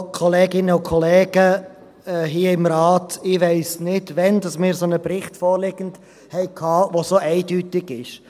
Ich weiss nicht, wann wir einen solchen Bericht vorliegen hatten, der so eindeutig ist.